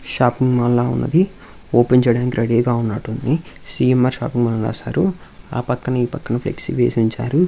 Shopping మాల్లా ఉన్నది. Open చేయడానికి రెడీ గా ఉన్నట్టుంది సీఎంర్ షాపింగ్ మాల్ అని రసారు ఆ పక్క నీ పక్కన ఫ్లెక్సీ వేసి ఉంచారు.